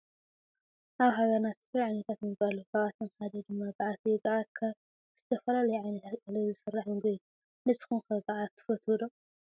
አብ ሃገርና ዝተፈላለዩ ዓይነታት ምግብታት አለው ካብአቶም ሓደ ድማ ጋዓተ እዩ። ጋዓት ካብ ዝተፈላለዩ ዓይነታት እክሊ ዝስራሕ ምግቢ እዩ። ንስኩም ከ ጋዓት ትፈትዎ ዶ?